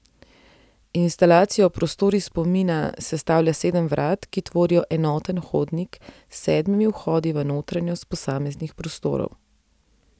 Instalacijo Prostori spomina sestavlja sedem vrat, ki tvorijo enoten hodnik s sedmimi vhodi v notranjost posameznih prostorov.